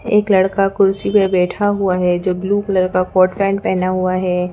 एक लड़का कुर्सी पर बैठा हुआ है जो ब्लू कलर का कॉट पैंट पहना हुआ है।